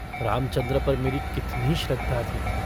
रामचन्द्र पर मेरी कितनी श्रद्धा थी।